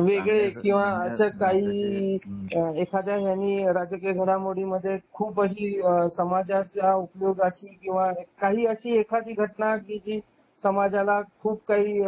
वेगळे किंवा असे काही एखाद्या आणि राजकीय घडामोडीं मध्ये खूप अशी समाजाच्या उपयोगाची किंवा अशी एखादी घटना कि जी समाजाला खूप काही